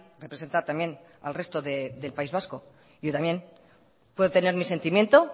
representa también al resto del país vasco y yo también puedo tener mi sentimiento